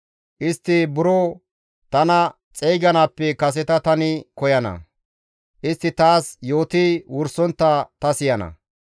Istti buro tana xeyganaappe kaseta tani koyana; istti taas yooti wursontta ta siyana.